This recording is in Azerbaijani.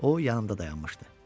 O yanımda dayanmışdı.